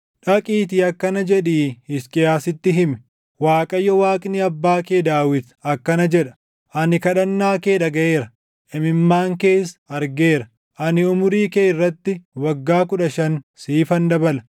“Dhaqiitii akkana jedhii Hisqiyaasitti himi; ‘ Waaqayyo Waaqni abbaa kee Daawit akkana jedha: Ani kadhannaa kee dhagaʼeera; imimmaan kees argeera; ani umurii kee irratti waggaa kudha shan siifan dabala.